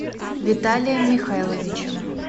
виталием михайловичем